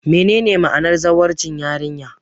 Menene ma'anar zawarcin yarinya?